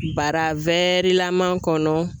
Bara laman kɔnɔ